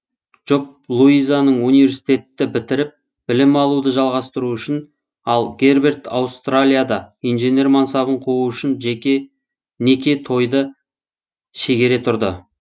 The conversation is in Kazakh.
жұп луизаның университетті бітіріп білім алуды жалғастыру үшін ал герберт аустралияда инженер мансабын қуу үшін неке тойды шегере тұрды